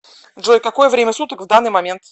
джой какое время суток в данный момент